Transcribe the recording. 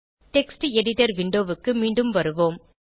text editor window க்கு மீண்டும் வருவோம்